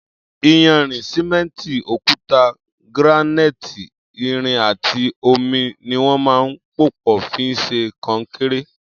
Iyànrin, sìmẹ̀ntí, ókùtá, grànáití, ìrín àtí ómí niwọn mà n pópọ̀ fi ṣé kọ̀nkéré